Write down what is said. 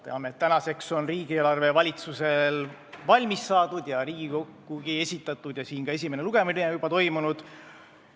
Teame, et tänaseks on riigieelarve valitsusel valmis saadud ja Riigikogule esitatud ja esimene lugeminegi on juba toimunud.